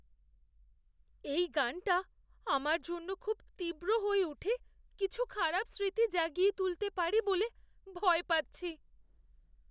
এই গানটা আমার জন্য খুব তীব্র হয়ে উঠে কিছু খারাপ স্মৃতি জাগিয়ে তুলতে পারে বলে ভয় পাচ্ছি।